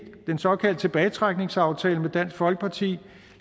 den såkaldte tilbagetrækningsaftale med dansk folkeparti